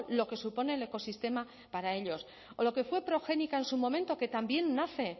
lo que supone el ecosistema para ellos o lo que fue progenika en su momento que también nace